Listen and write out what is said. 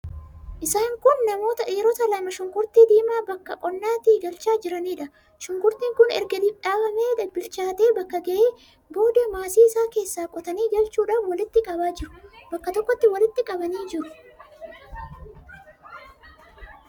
Isaan kun namoota dhiirota lama shunkurtii diimaa bakka qonnaatii galchaa jiraniidha. Shunkurtiin kun erga dhaabamee, bilchaatee bakka ga'ee booda maasii isaa keessaa qotanii galchuudhaaf walitti qabaa jiru. Bakka tokkotti walitti qabanii jiru.